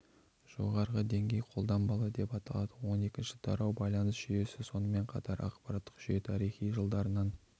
жоғарғы деңгей қолданбалы деп аталады он екінші тарау байланыс жүйесі сонымен қатар ақпараттық жүйе тарихы жылдарынан